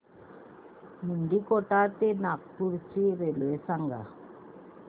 मुंडीकोटा ते नागपूर ची रेल्वे सांगा